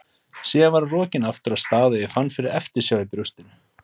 Síðan var hún rokin aftur af stað og ég fann fyrir eftirsjá í brjóstinu.